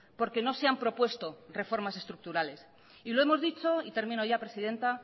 porque no se han propuesto reformas estructurales y lo hemos dicho y termino ya presidenta